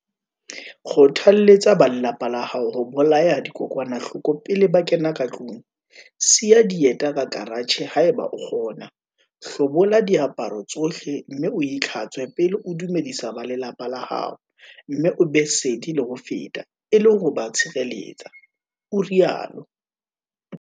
"Kgotha-lletsa ba lelapa la hao ho bolaya dikokwanahloko pele ba kena ka tlung, siya dieta ka karatjhe haeba o kgona, hlobola diaparo tsohle mme o itlhatswe pele o dumedisa ba lelapa la hao mme o be sedi le ho feta e le ho ba tshireletsa," o rialo.